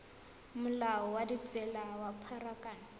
molao wa ditsela wa pharakano